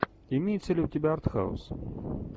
имеется ли у тебя артхаус